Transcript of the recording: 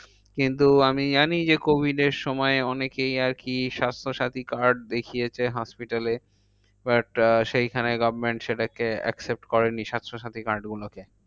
কিন্তু আমি জানি যে covid এর সময় অনেকেই আরকি স্বাস্থ্যসাথী card দেখিয়েছে hospital এ। but আহ সেখানে government সেটাকে accept করেনি স্বাস্থ্যসাথী card গুলোকে।